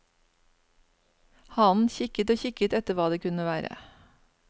Hanen kikket og kikket etter hva det kunne være.